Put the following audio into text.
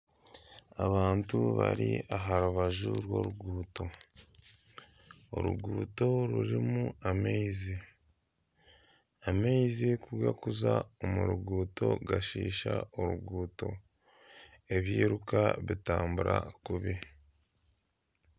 Abantu bari aha rubaju rw'oruguuto, oruguuto rurimu amaizi, amaizi kugarikuza omu ruguuto gashiisha oruguuto ebyiiruka bitambura kubi.